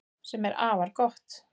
Sem er afar gott